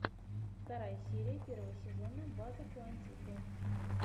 вторая серия первого сезона база куантико